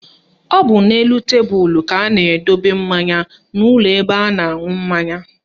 Ọ bụ n'elu tebelu ka a na-edobe mmanya n'ụlọ ebe a na-aṅụ mmanya